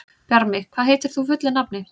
Bjarmi, hvað heitir þú fullu nafni?